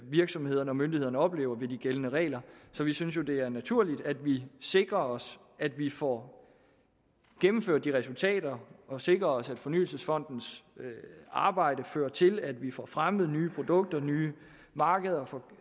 virksomhederne og myndighederne oplever ved de gældende regler så vi synes jo at det er naturligt at vi sikrer os at vi får gennemført det resultater og sikrer os at fornyelsesfondens arbejde fører til at vi får fremmet nye produkter nye markeder og får